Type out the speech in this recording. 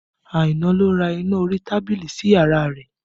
Aina ló ra iná orí tábìlì sí yàrá rẹ̀